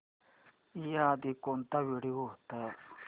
याआधी कोणता व्हिडिओ होता